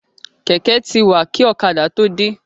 Kẹ̀kẹ́ ti wà kí ọ̀kadà tó dé.